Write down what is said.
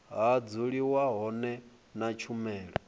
ha dzuliwa hone na tshumelo